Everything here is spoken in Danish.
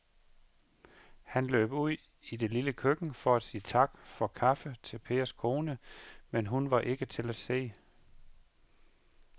Han løb ud i det lille køkken for at sige tak for kaffe til Pers kone, men hun var ikke til at se.